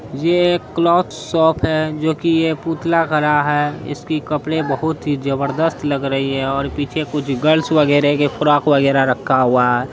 ये cloth shop है जोकि एक पुतला खड़ा है इसकी कपड़े बहुत ही जबरदस्त लग रही हैं पीछे कुछ गर्ल्स वेगरा के फराक वेगरा रखा हुआ है।